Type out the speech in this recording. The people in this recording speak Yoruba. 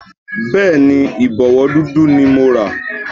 Bẹ́ẹ̀ni, Ìbọ̀wọ́ dúdú ni mo rà